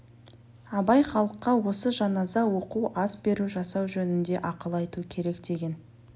абай халыққа осы жаназа оқу ас беру жасау жөнінде ақыл айту керек деген